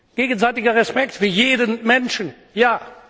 ja! Gegenseitiger Respekt für jeden Menschen